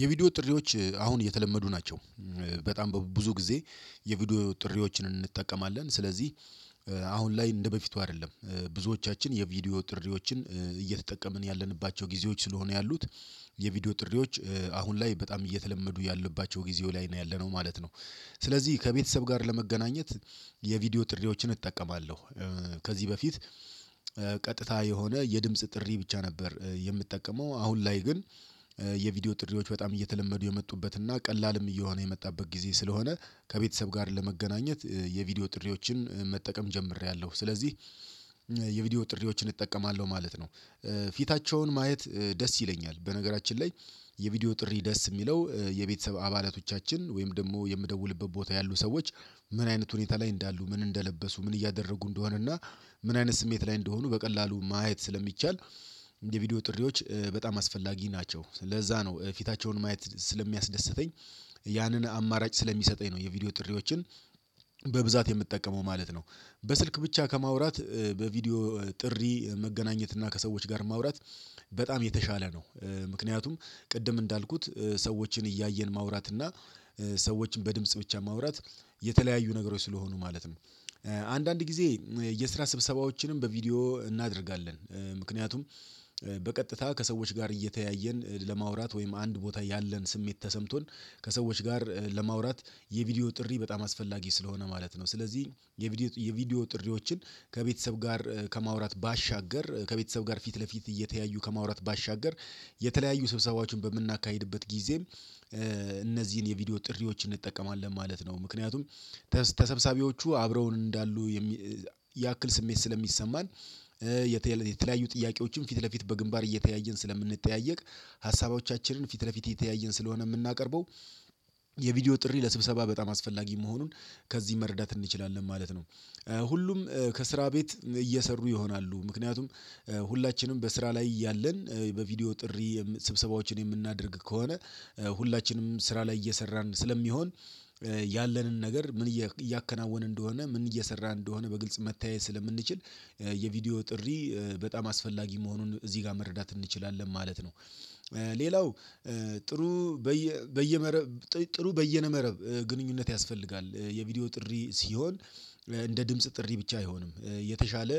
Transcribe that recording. የቪዲዮ ጥሪዎች አሁን የተለመዱ ናቸው። በጣም በብዙ ጊዜ የቪዲዮ ጥሪዎችን እንጠቀማለን ስለዚህ። አሁን ላይ እንደበፊቱ አይደለም ብዙዎቻችን የቪዲዮ ጥሪዎችን እየተጠቀምን ያለንባቸው ጊዜዎች ስለሆነ ያሉት። የቪዲዮ ጥሪዎች አሁን ላይ በጣም እየተለመዱ ያለባቸው ጊዜው ላይ ነው ያለነው ማለት ነው። ስለዚህ ከቤተሰብ ጋር ለመገናኘት የቪዲዮ ጥሪዎችን እጠቀማለሁ። ከዚህ በፊት ቀጥታ የሆነ የድምጽ ጥሪ ብቻ ነበር የምጠቀመው አሁን ላይ ግን። የቪዲዮ ጥሪዎች በጣም እየተለመዱ የመጡበት እና ቀላልም እየሆነ የመጣበት ጊዜ ስለሆነ ከቤተሰብ ጋር ለመገናኘት የቪዲዮ ጥሪዎችን መጠቀም ጀምሬያለሁ ስለዚህ። የቪዲዮ ጥሪዎችን እጠቀማለሁ ማለት ነው። ፊታቸውን ማየት ደስ ይለኛል በነገራችን ላይ። የቪዲዮ ጥሪ ደስ የሚለው የቤተሰብ አባላቶቻችን ወይም ደግሞ የምደውልበት ቦታ ያሉ ሰዎች ምን አይነት ሁኔታ ላይ እንዳሉ ምን እንደለበሱ ምን እያደረጉ እንደሆነና ምን አይነት ስሜት ላይ እንደሆኑ በቀላሉ ማየት ስለሚቻል። የቪዲዮ ጥሪዎች በጣም አስፈላጊ ናቸው ለዛ ነው ፊታቸውን ማየት ስለሚያስደስተኝ። ያንን አማራጭ ስለሚሰጠኝ ነው። የቪዲዮ ጥሪዎችን በብዛት የምትጠቀመው ማለት ነው። በስልክ ብቻ ከማውራት በቪዲዮ ጥሪ መገናኘት እና ከሰዎች ጋር ማውራት በጣም የተሻለ ነው። ምክንያቱም ቅድም እንዳልኩት ሰዎችን እያየን ማውራት እና ሰዎችን በድምጽ ብቻ ማውራት የተለያዩ ነገሮች ስለሆኑ ማለት ነው። አንዳንድ ጊዜ የስራ ስብሰባዎችንም በቪዲዮ እናደርጋለን። ምክንያቱም በቀጥታ ከሰዎች ጋር እየተያየን ለማውራት ወይም አንድ ቦታ ያለን ስሜት ተሰምቶን ከሰዎች ጋር ለማውራት የቪዲዮ ጥሪ በጣም አስፈላጊ ስለሆነ ማለት ነው። ስለዚህ የቪዲዮ የቪዲዮ ጥሪዎችን ከቤተሰብ ጋር ከማውራት ባሻገር ጋር ፊት ለፊት እየተያዩ ከማውራት ባሻገር የተለያዩ ስብሰባዎችን በምናካሂድበት ጊዜ። እነዚህን የቪዲዮ ጥሪዎችን እንጠቀማለን ማለት ነው ምክንያቱም ተሰብሰቢዎቹ አብረው እንዳሉ ያክል ስሜት ስለሚሰማን። የተለያዩ ጥያቄዎችን ፊት ለፊት በግንባር እየተያየን ስለምንጠያየቅ። ሀሳቦቻችንን ፊት ለፊት እየተያየን ስለሆነ የምናቀርበው። የቪዲዮ ጥሪ ለስብሰባ በጣም አስፈላጊ መሆኑን ከዚህ መረዳት እንችላለን ማለት ነው። ሁሉም ከስራ ቤት እየሰሩ ይሆናሉ ምክንያቱም ሁላችንም በስራ ላይ ያለን በቪድዮ ጥሪ ስብሰባዎችን የምናደርግ ከሆነ። ሁላችንም ስራ ላይ እየሰራን ስለሚሆን ያለንን ነገር ምን እያከናወነ እንደሆነ ምን እየሰራ እንደሆነ በግልጽ መተያየት ስለምንችል። የቪዲዮ ጥሪ በጣም አስፈላጊ መሆኑን እዚህ ጋር መረዳት እንችላለን ማለት ነው። ሌላው ጥሩ በየ በየመረቡ ጥሩ በይነ መረቡ ግንኙነት ያስፈልጋል የቪዲዮ ጥሪ ሲሆን። እንደ ድምጽ ጥሪ ብቻ አይሆንም የተሻለ